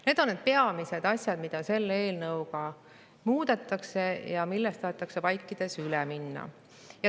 Need on peamised asjad, mida selle eelnõuga muudetakse ja millest tahetakse vaikides üle minna.